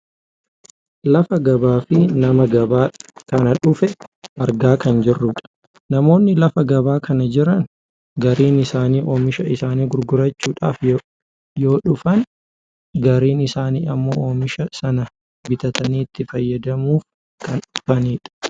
Lafa gabaafi nama gabaa kana dhufe argaa kan jirrudha. Namoonni lafa gabaa kana jiran gariin isaanii oomisha isaanii gurgurachuuf yoo dhufan gariin isaanii ammoo oomisha sana bitatanii itti fayyadamuuf Kan dhufanidha.